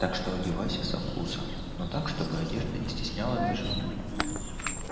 так что одевайся со вкусом но так чтобы одежда не стесняла движение